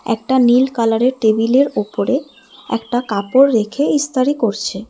একটা নীল কালারের টেবিলের ওপরে একটা কাপড় রেখে ইসতারি করছে।